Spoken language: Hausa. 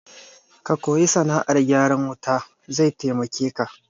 Ka koyi sana'ar gyaran wuta zai taimake ka